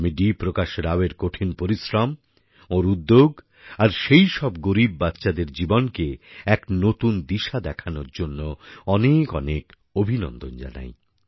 আমি ডি প্রকাশ রাওয়ের কঠিন পরিশ্রম ওঁর উদ্যোগ আর সেইসব গরীব বাচ্চাদের জীবনকে এক নতুন দিশা দেখানোর জন্য অনেক অনেক অভিনন্দন জানাই